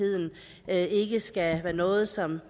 er at ikke skal være noget som